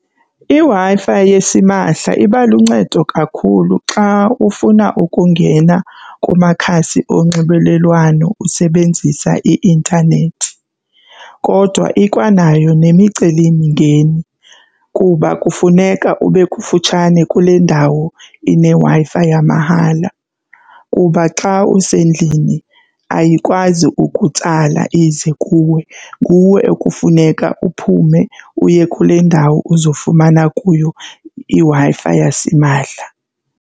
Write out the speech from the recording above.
IWi-Fi yesimahla iba luncedo kakhulu xa ufuna ukungena kumakhasi onxibelelwano usebenzisa i-intanethi kodwa ikwanayo nemicelimingeni kuba kufuneka ube kufutshane kule ndawo ineWi-Fi yamahala. Kuba xa usendlini ayikwazi ukutsala ize kuwe, nguwe ekufuneka uphume uye kule ndawo uzofumana kuyo iWi-Fi yasimahla.